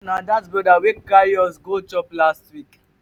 na dat brother wey carry us go chop last week.